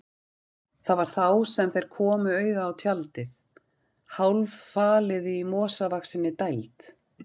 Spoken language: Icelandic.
Það var þá sem þeir komu auga á tjaldið, hálffalið í mosavaxinni dæld.